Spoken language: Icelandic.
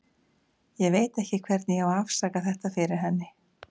Ég veit ekki hvernig ég á að afsaka þetta fyrir henni.